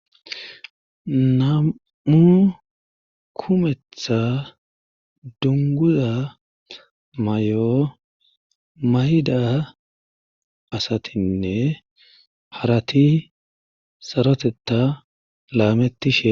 namu kumetha dunguza may7o mayida asatinne harati sarotetta laamettishe